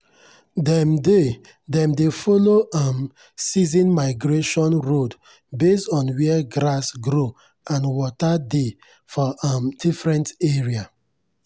dem dey dem dey follow um season migration road based on where grass grow and water dey for um different area.